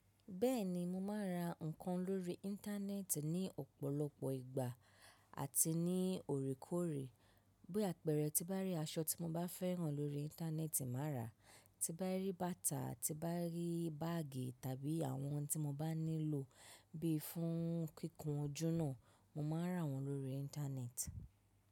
Bẹ́ẹ̀ni, mo máa ń ra nǹkan lórí íńtánẹ́ẹ́tì ní ọ̀pọ̀lọpọ̀ ìgbà àti ní oore koòre. Bí àpẹẹrẹ, tí n bá rí aṣọ tí mo bá fẹ́ràn lórí íńtánẹ́ẹ́tì, màá rà á. Ti n bá rí bátà, ti n bá rí báàgì tàbí àwọn tí mo bá nílò bíi fún kíkùn ojúna, mo máa rà wọ́n lórí íńtánẹ́ẹ́tì.